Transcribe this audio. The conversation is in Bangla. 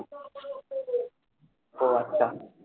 ও আচ্ছা,